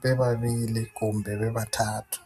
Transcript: bebabili kumbe bebathathu.